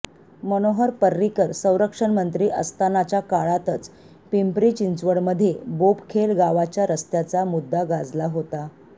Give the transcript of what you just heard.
मनोहर पर्रिकर संरक्षणमंत्री असतानाच्या काळातच पिंपरी चिंचवडमध्ये बोपखेल गावाच्या रस्त्याचा मुद्दा गाजला होता